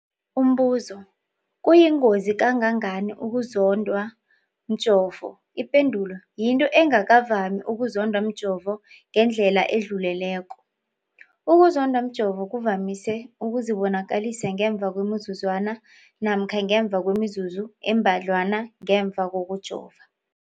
Umbuzo, kuyingozi kangangani ukuzondwa mjovo? Ipendulo, yinto engakavami ukuzondwa mjovo ngendlela edluleleko. Ukuzondwa mjovo kuvamise ukuzibonakalisa ngemva kwemizuzwana namkha ngemva kwemizuzu embadlwana ngemva kokujova.